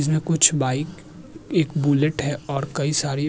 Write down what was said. जिसमें कुछ बाइक एक बुलेट है और कई सारी --